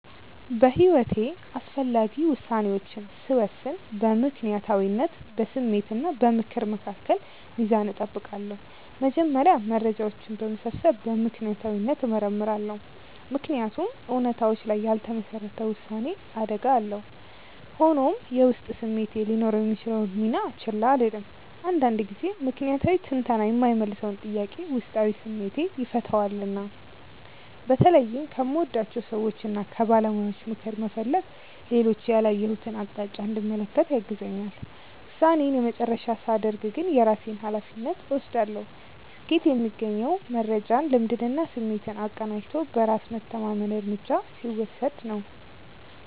በሕይወቴ አስፈላጊ ውሳኔዎችን ስወስን በምክንያታዊነት፣ በስሜት እና በምክር መካከል ሚዛን እጠብቃለሁ። መጀመሪያ መረጃዎችን በመሰብሰብ በምክንያታዊነት እመረምራለሁ፤ ምክንያቱም እውነታዎች ላይ ያልተመሰረተ ውሳኔ አደጋ አለው። ሆኖም፣ የውስጥ ስሜቴ ሊኖረው የሚችለውን ሚና ችላ አልልም፤ አንዳንድ ጊዜ ምክንያታዊ ትንተና የማይመልሰውን ጥያቄ ውስጣዊ ስሜቴ ይፈታዋልና። በተለይም ከምወዳቸው ሰዎችና ከባለሙያዎች ምክር መፈለግ ሌሎች ያላየሁትን አቅጣጫ እንድመለከት ያግዘኛል። ውሳኔዬን የመጨረሻ ሳደርግ ግን የራሴን ሃላፊነት እወስዳለሁ። ስኬት የሚገኘው መረጃን፣ ልምድንና ስሜትን አቀናጅቶ በራስ መተማመን እርምጃ ሲወስድ ነው።